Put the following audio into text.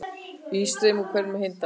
Ís streymir úr hverjum dalli